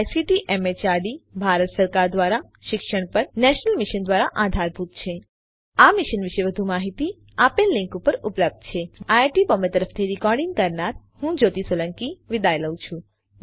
જે ICT MHRD Bharat સરકાર દ્વારા શિક્ષણ પર નેશનલ મિશન દ્વારા આધારભૂત છે આ મિશન વિશે વધુ માહીતી આ લીંક ઉપર ઉપલબ્ધ છે httpspoken tutorialorgNMEICT intro IIT Bombay તરફથી ભાષાંતર કરનાર હું કૃપાલી પરમાર વિદાય લઉં છું